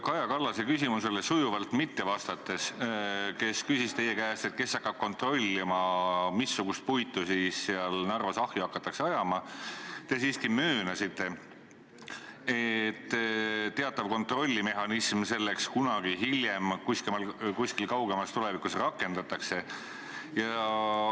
Kaja Kallase küsimusele sujuvalt mitte vastates – tema küsis teie käest, kes hakkab kontrollima, missugust puitu siis Narvas ahju hakatakse ajama – te siiski möönsite, et teatavat kontrollmehhanismi selleks kunagi hiljem kuskil kaugemas tulevikus rakendatakse.